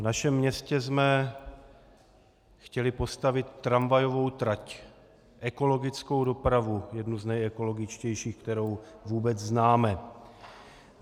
V našem městě jsme chtěli postavit tramvajovou trať, ekologickou dopravu, jednu z nejekologičtějších, kterou vůbec známe.